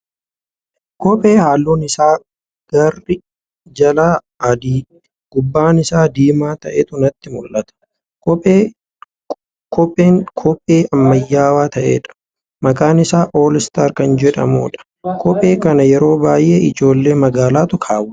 Kophee halluun isaa garri jalaa adii, gubbaan isaa diimaa ta'eetu natti muldhata. Kopheen kophee ammayyaawaa ta'eedha. Maqaan isaa "all star" kan jedhamuu dha . Kophee kana yeroo baay'ee ijoollee magaalaatu kaawwata .